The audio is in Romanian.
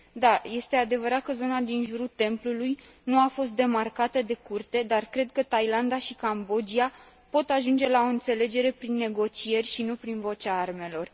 Da, este adevărat că zona din jurul templului nu a fost demarcată de Curte, dar cred că Thailanda și Cambodgia pot ajunge la o înțelegere prin negocieri, și nu prin vocea armelor.